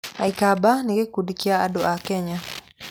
Aikamba nĩ gĩkundi kĩa andũ a Kenya.